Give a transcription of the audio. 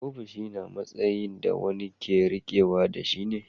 Ofishi matsayi da wani ke riƙe da shi ne.